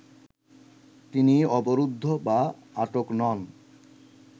তিনি অবরুদ্ধ বা আটক নন